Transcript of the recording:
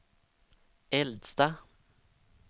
äldsta